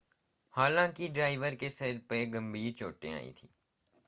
हालांकि ड्राइवर के सिर में गंभीर चोटें आई थी